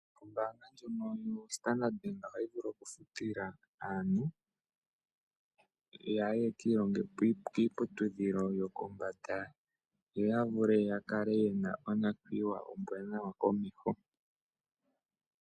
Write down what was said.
ombaanga yoStandard bank ohayi vulu okufutila aantu yaye yakiilonge kiiputudhilo yopombanda yo ya vule ya kale yena onakwiiwa ombwaanawa komeho.